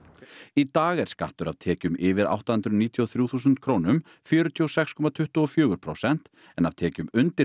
í dag er skattur af tekjum yfir átta hundruð níutíu og þrjú þúsund krónum fjörutíu og sex komma tuttugu og fjögur prósent en af tekjum undir